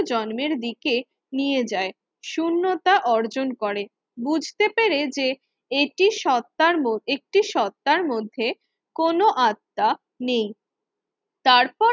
জন্মের দিকে নিয়ে যায়। শূন্যতা অর্জন করে বুঝতে পেরে যে এটি সত্তার মধ্যে একটি সত্তার মধ্যে কোন আত্মা নেই তারপর